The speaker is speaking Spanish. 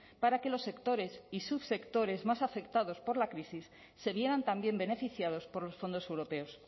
para que los sectores y subsectores más afectados por la crisis se vieran también beneficiados por los fondos europeos